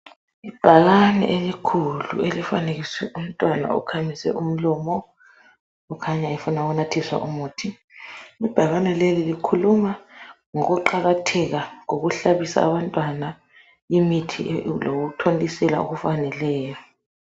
Ibhakane elikhulu elifanekiswe umntwana okhamise umlomo okhanya efuna ukunathiswa umuthi. Ibhakane leli likhuluma ngokuqakatheka kokuhlabisa abantwana imithi lokuthontisela okufaneleyo.